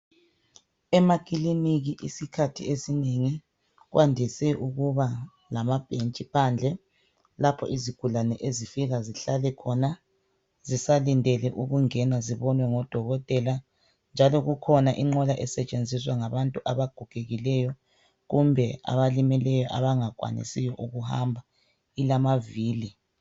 Emakiliki isikhathi esinengi kwandise ukuba lamabhensthi phandle lapho izigulane ezifika zihlale khona zisalindele ukungena zibonwe ngodokotela njalo kukhona inqola esetshenziswa ngabagogekileyo kumbe abalimeleyo abangakwanisi ukuhamba, ilamavili.